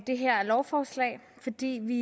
det her lovforslag fordi vi